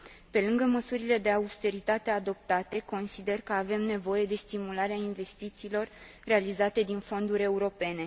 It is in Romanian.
Pe lângă măsurile de austeritate adoptate, consider că avem nevoie de stimularea investițiilor realizate din fonduri europene.